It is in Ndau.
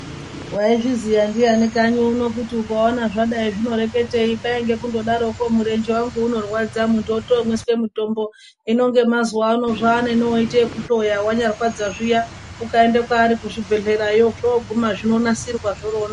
Waizviziya ndiyani kanyi uno kuti ukaona zvakadai zvinoreketei kwainge kundodarokwo murenje wangu unorwadza muntu wotomwiswa mutombo hino ngemazuvano zvaanenowoita ekuhloya zvanyarwadza zviya ukaenda kwaari kuzvibhedhlera zvoguma zvinobanasirwa zvobanaka.